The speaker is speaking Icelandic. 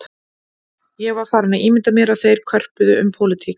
Ég var farinn að ímynda mér að þeir körpuðu um pólitík